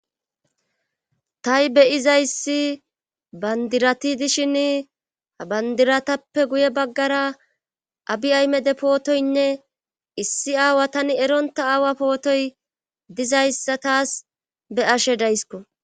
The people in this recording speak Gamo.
tahi beyiza issi bandirati dishin habandiratappe guye baggara abi aymede pootoynne issi aawa tani eronta aawa pootoy dizayssa taas be ashe daysko